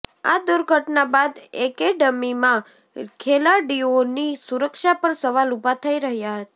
આ દુર્ઘટના બાદ એકેડમીમાં ખેલાડીઓની સુરક્ષા પર સવાલ ઉભા થઇ રહ્યા છે